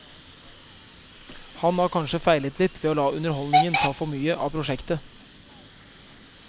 Han har kanskje feilet litt ved å la underholdningen ta for mye av prosjektet.